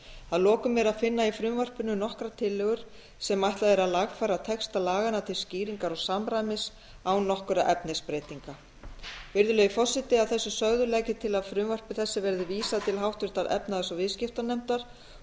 að lokum er að finna í frumvarpinu nokkrar tillögur sem ætlað er að lagfæra texta laganna til skýringar og samræmis án nokkurra efnisbreytinga virðulegi forseti að þessu sögðu legg ég til að frumvarpi þessu verði vísað til háttvirtrar efnahags og viðskiptanefndar